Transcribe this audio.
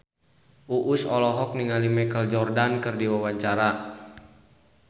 Uus olohok ningali Michael Jordan keur diwawancara